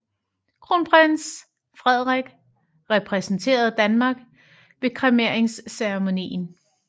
Kronprins Frederik repræsenterede Danmark ved kremeringsceremonien